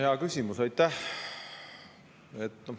Hea küsimus, aitäh!